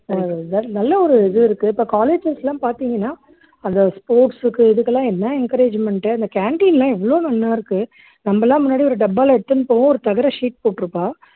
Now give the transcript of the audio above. ஆஹ் நல்ல ஒரு இது இருக்கு இப்போ colleges எல்லாம் பாத்தீங்கன்னா அந்த sports க்கு இதுக்கெல்லாம் என்ன encouragement உ அந்த canteen எல்லாம் எவ்ளோ நன்னா இருக்கு நம்ம எல்லாம் முன்னாடி ஒரு டப்பால எடுத்துன்னு போவோம் ஒரு தகர sheet போட்டுருப்பா